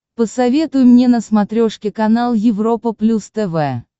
посоветуй мне на смотрешке канал европа плюс тв